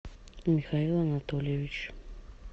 михаил анатольевич